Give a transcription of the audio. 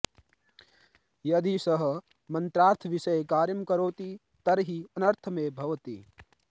यदि सः मन्त्रार्थविषये कार्यं करोति तर्हि अनर्थमेव भवति